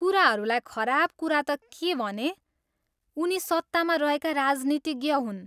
कुराहरूलाई खराब कुरा त के भने उनी सत्तामा रहेका राजनीतिज्ञ हुन्।